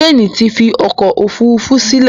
Jane tí fí ọkọ òfurufú sílè